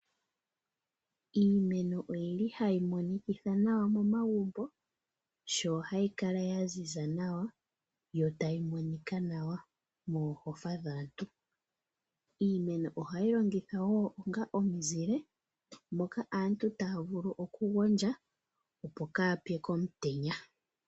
Iimeno oyili hayi monikitha nawa mo magumbo, sho hayi kala ya ziza nawa yo tayi monika nawa mohofa dhaantu. Iimeno ohayi longithwa wo onga omuzile, moka aantu taya vulu okugondja opo kaya pye komutenya.